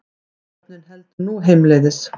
Áhöfnin heldur nú heimleiðis